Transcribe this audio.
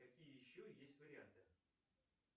какие еще есть варианты